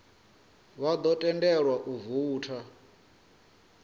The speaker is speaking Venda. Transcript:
vha ḓo tendelwa u voutha